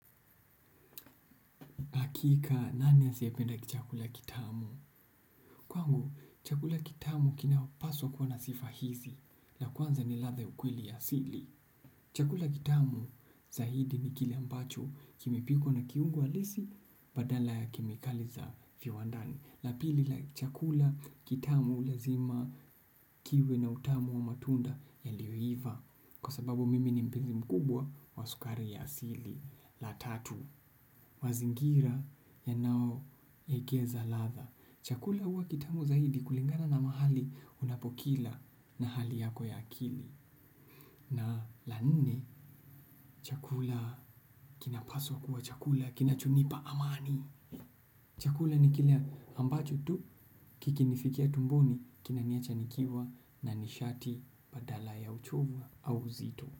Hakika, nani hasiyependa chakula kitamu? Kwangu, chakula kitamu kinapaswa kuwa na sifa hizi, la kwanza ni ladha ya ukweli ya asili. Chakula kitamu, zaidi ni kile ambacho, kimepikwa na kiungo halisi, badala ya kemikali za viwandani. La pili, la chakula kitamu lazima kiwe na utamu wa matunda yaliyoiva, kwa sababu mimi ni mpenzi mkubwa wa sukari ya asili. La tatu, mazingira yanayowekeza ladha chakula huwa kitamu zaidi kulingana na mahali unapokila na hali yako ya akili na la nne chakula kinapaswa kuwa chakula, kinachonipa amani chakula ni kile ambacho tu, kikinifikia tumboni, kinaniacha nikiwa na nishati badala ya uchovu au uzito.